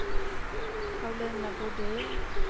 Paulina Brodin